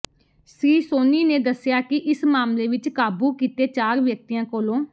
ਸ੍ਰੀ ਸੋਨੀ ਨੇ ਦੱਸਿਆ ਕਿ ਇਸ ਮਾਮਲੇ ਵਿਚ ਕਾਬੂ ਕੀਤੇ ਚਾਰ ਵਿਅਕਤੀਆਂ ਕੋਲੋਂ